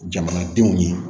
Jamanadenw ye